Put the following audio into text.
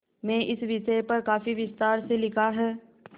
में इस विषय पर काफी विस्तार से लिखा है